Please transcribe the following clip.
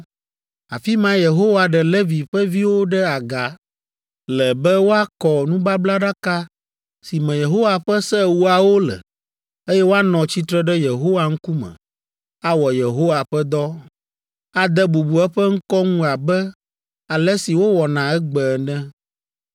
Afi mae Yehowa ɖe Levi ƒe viwo ɖe aga le be woakɔ nubablaɖaka si me Yehowa ƒe Se Ewoawo le, eye woanɔ tsitre ɖe Yehowa ŋkume awɔ Yehowa ƒe dɔ, ade bubu eƒe ŋkɔ ŋu abe ale si wowɔna egbe ene.